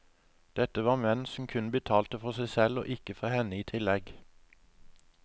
Dette var menn som kun betalte for seg selv og ikke for henne i tillegg.